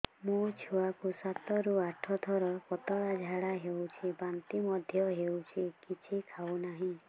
ମୋ ଛୁଆ କୁ ସାତ ରୁ ଆଠ ଥର ପତଳା ଝାଡା ହେଉଛି ବାନ୍ତି ମଧ୍ୟ୍ୟ ହେଉଛି କିଛି ଖାଉ ନାହିଁ